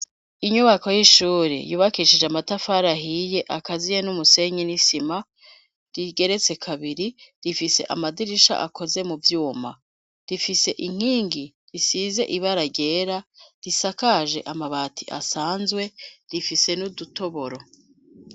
Inyubako y'ishure yubakishije amatafari ahiye akaziye n'umusenyi n'isima rigeretse kabiri, rifise amadirisha akoze mu vyuma, rifise inkingi isize ibara ryera risakaje amabati asanzwe, rifise n'udutoboro.